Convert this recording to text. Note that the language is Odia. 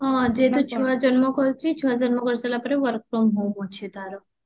ହଁ ଯେହେତୁ ଛୁଆ ଜନ୍ମ କରିଛି ଛୁଆ ଜନ୍ମ କରି ସାରିଲା ପରେ work from home ଅଛି ତାର